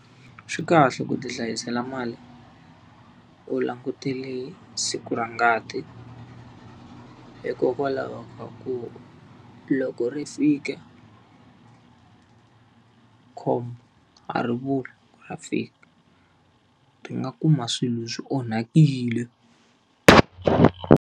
Swi kahle ku ti hlayisela mali u langutele siku ra ngati, hikokwalaho ka ku loko ri fika khombo ri vuli ra fika. Ri nga kuma swilo swi onhakile.